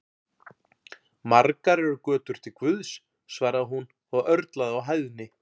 Margar eru götur til Guðs, svaraði hún og örlaði á hæðni.